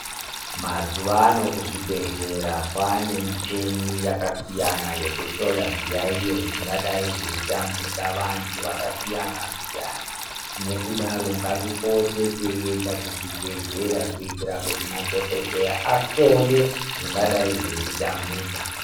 Mazuva ano kuzvibhedhlera kwava nemichina yakasiyana yekuhloya zviyayiyo zvingadai zveyitambudza vantu vakasiyana siyana nekudaro ngati poteyi tichienda kuzvibhedhlera kuitira kuti madhokodheya ahloye zvingadai zveyiti tambudza.